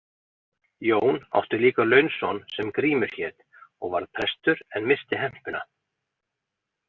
Jón átti líka launson sem Grímur hét og varð prestur en missti hempuna.